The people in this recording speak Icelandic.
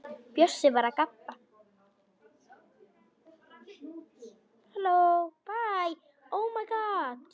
Bjössi var að gabba.